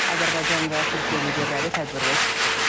Azərbaycan və Türkiyə liderləri tədbirdə çıxış ediblər.